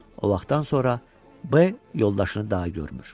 O vaxtdan sonra B yoldaşını daha görmür.